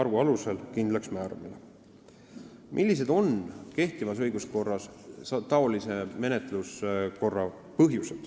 Millised on sellise menetluskorra põhjused kehtivas õiguskorras?